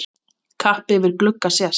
Kappi yfir glugga sést.